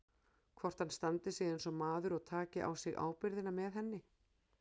Hvort hann standi sig eins og maður og taki á sig ábyrgðina með henni.